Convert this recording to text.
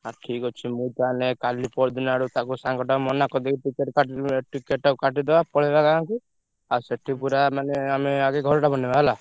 ଆଉ ଠିକ୍ ଅଛି ମୁଁ ତାହେଲେ କାଲି ପରଦିନ ଆଡୁ ତାକୁ ସାଙ୍ଗଟା ମନା କରିଦେବି ତୁ ତୋର ticket ଟାକୁ କାଟିଦେବା ପଳେଇବା ଗାଁକୁ। ଆଉ ସେଠି ପୁରା ମାନେ ଆମେ ଆଗେ ଘରଟା ବନେଇବା ହେଲା।